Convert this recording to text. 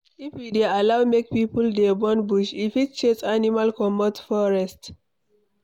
If we dey allow make people dey burn bush, e fit chase animals comot forest